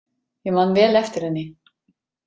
Ég man vel eftir henni.